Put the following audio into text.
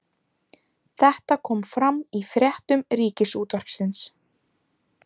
Þetta kom fram í fréttum Ríkisútvarpsins